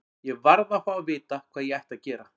Ég varð að fá að vita hvað ég ætti að gera.